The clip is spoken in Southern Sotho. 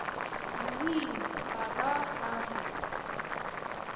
wee ha ba ha re